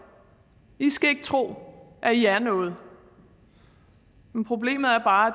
i skal ikke tro at i er noget men problemet er bare at